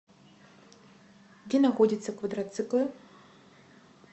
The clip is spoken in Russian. где находятся квадроциклы